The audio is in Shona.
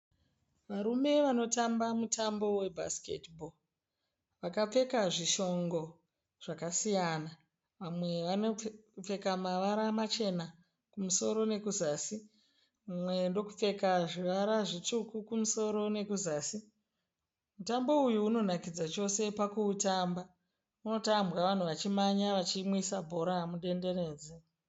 Varume vanotamba mutambo we bhasiketi bho. Vakapfeka zvishongo zvakasiyana. Vamwe vakapfeka mavara machena kumusoro nekuzasi mumwe ndokupfeka zvivara zvitsvuku kumusoro nekuzasi. Mutambo uyu inonakidza chose pakuutamba. Unotambwa vanhu vachimhanya vachimwisa bhora mudendenedzwa.